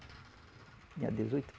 Tinha dezoito